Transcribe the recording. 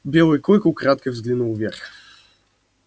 белый клык украдкой взглянул вверх